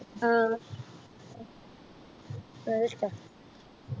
ആഹ് അത് ഇഷ്ട്ടാ.